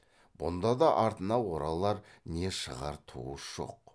бұнда да артына оралар не шығар туыс жоқ